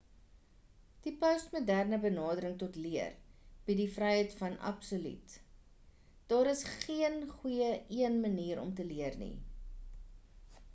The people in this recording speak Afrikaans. die postmoderne benadering tot leer bied die vryheid van absolute daar is geen goeie een manier om te leer nie